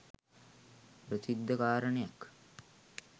ප්‍රසිද්ධ කාරණයක්.